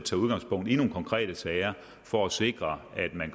tage udgangspunkt i nogle konkrete sager for at sikre at man